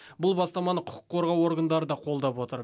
бұл бастаманы құқық қорғау органдары да қолдап отыр